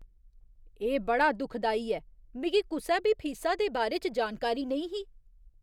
एह् बड़ा दुखदाई ऐ। मिगी कुसै बी फीसा दे बारे च जानकारी नेईं ही।